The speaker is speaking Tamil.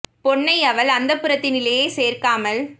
பொன்னையவள் அந்தப் புரத்தினிலே சேர்க்காமல்